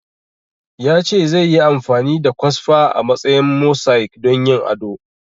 Ya ce zai yi amfani da kwasfa a matsayin mosaic don yin ado